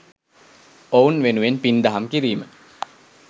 ඔවුන් වෙනුවෙන් පින් දහම් කිරීම.